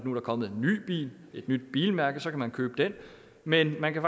nu er kommet en ny bil et nyt bilmærke og så kan man købe den men man kan